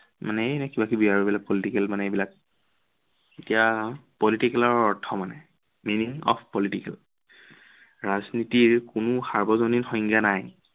মানে এনেই এইবোৰ কিবাকিবি আৰু এইবিলাক political মানে এইবিলাক এতিয়া আহো political ৰ অৰ্থ মানে। meaning of political ৰাজনীতিৰ কোনো সাৰ্বজনীন সংজ্ঞা নাই।